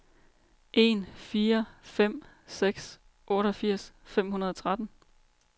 en fire fem seks otteogfirs fem hundrede og tretten